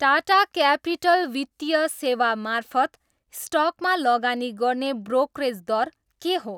Tata Capital वित्तीय सेवा मार्फत स्टकमा लगानी गर्ने ब्रोकरेज दर के हो?